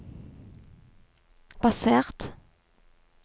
basert